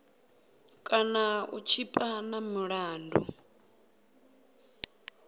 kana u tshipa na milandu